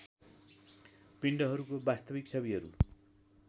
पिण्डहरूको वास्तविक छविहरू